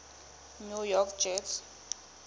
new york jets